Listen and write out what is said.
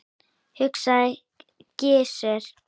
hugsaði Gizur.